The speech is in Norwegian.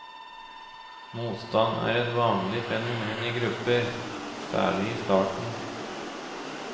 Motstand er et vanlig fenomen i grupper, særlig i starten.